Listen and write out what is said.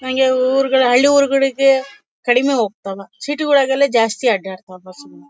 ಹಂಗೆ ಊರುಗಳು ಹಳ್ಳಿ ಊರುಗಳಿಗೆ ಕಡಿಮೆ ಹೋಗ್ತಾವ ಸಿಟಿ ಗಳಿಗೆಲ್ಲ ಜಾಸ್ತಿ ಅಡ್ಡಾಡ್ತವೆ ಬಸ್ ಗಳು.